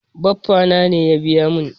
Baffa na ne ya biya mun.